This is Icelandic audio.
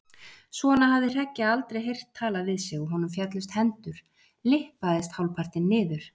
Svona hafði Hreggi aldrei heyrt talað við sig og honum féllust hendur, lyppaðist hálfpartinn niður.